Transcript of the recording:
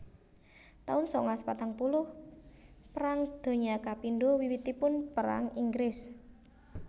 taun sangalas patang puluh Perang Donya kapindho Wiwitipun perang Inggris